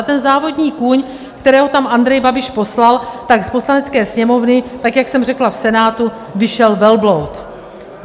A ten závodní kůň, kterého tam Andrej Babiš poslal, tak z Poslanecké sněmovny, tak jak jsem řekla v Senátu, vyšel velbloud.